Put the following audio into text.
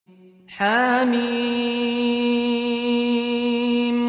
حم